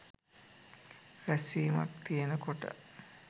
රැස්වීමක් තියනකොට.